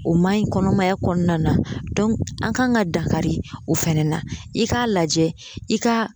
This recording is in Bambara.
O ma ɲi kɔnɔmaya kɔnɔna na dɔnku an kan ka dankari o fɛnɛ na i k'a lajɛ i ka